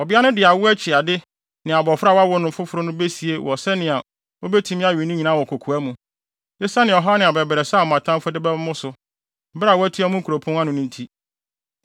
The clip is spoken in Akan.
Ɔbea no de awo akyi ade ne abofra a wawo no foforo no besie wɔn sɛnea obetumi awe ne nyinaa wɔ kokoa mu, esiane ɔhaw ne abɛbrɛsɛ a mo atamfo de bɛba mo so, bere a wɔatua mo nkuropɔn ano no nti.